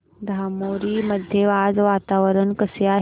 धामोरी मध्ये आज वातावरण कसे आहे